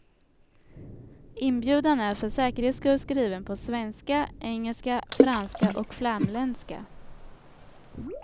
Inbjudan är för säkerhets skull skriven på svenska, engelska, franska och flamländska.